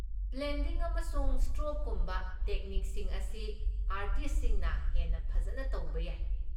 Blending ꯑꯃꯁꯨꯡ ꯁ꯭ꯇ꯭ꯔꯣꯛꯀꯨꯝꯕ ꯇꯦꯛꯅꯤꯛꯁꯤꯡ ꯑꯁꯤ ꯑꯥꯔꯇꯤꯁꯠꯁꯤꯡꯅ ꯍꯦꯟꯅ ꯐꯖꯅ ꯇꯧꯕ ꯌꯥꯏ꯫